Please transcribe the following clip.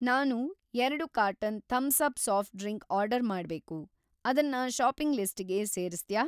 ನಾನು ಎರಡು carton Thums Up soft drink order ಮಾಡ್ಬೇಕು, ಅದನ್ನ ಷಾಪಿಂಗ್‌ ಲಿಸ್ಟಿಗೆ ಸೇರಿಸ್ತ್ಯಾ?